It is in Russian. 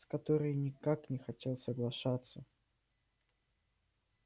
с которой никак не хотел соглашаться